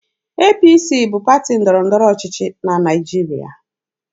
APC bụ pati ndọrọ ndọrọ ọchịchị na Naịjirịa.